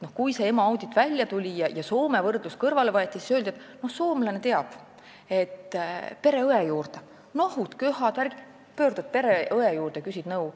Kui see EMO audit välja tuli ja Soome võrdluseks kõrvale võeti, siis öeldi, et soomlane teab, et kui on nohu-köha, siis pöördud pereõe juurde ja küsid nõu.